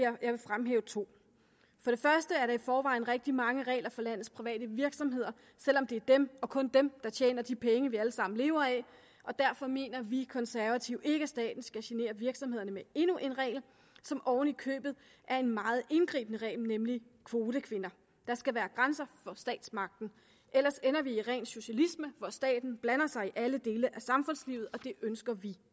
fremhæve to for det første er der i forvejen rigtig mange regler for landets private virksomheder selv om det er dem og kun dem der tjener de penge vi alle sammen lever af og derfor mener vi konservative ikke at staten skal genere virksomhederne med endnu en regel som oven i købet er en meget indgribende regel nemlig kvotekvinder der skal være grænser for statsmagten ellers ender vi i ren socialisme hvor staten blander sig i alle dele af samfundslivet og det ønsker vi